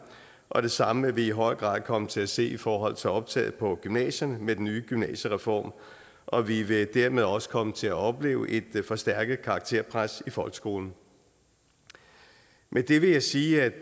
og det samme vil vi i høj grad komme til at se i forhold til optag på gymnasierne med den nye gymnasiereform og vi vil dermed også komme til at opleve et forstærket karakterpres i folkeskolen med det vil jeg sige at